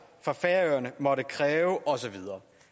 for færøerne måtte kræve og så videre